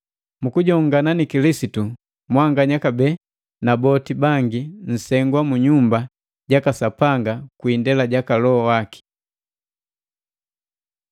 Mukujongana ni Kilisitu, mwanganya kabee na boti bangi, nsegwa mu nyumba jaka Sapanga kwi indela jaka Loho waki.